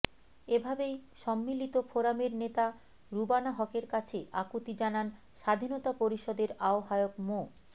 এভাবেই সম্মিলিত ফোরামের নেতা রুবানা হকের কাছে আকুতি জানান স্বাধীনতা পরিষদের আহ্বায়ক মো